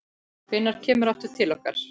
Hvenær kemurðu aftur til okkar?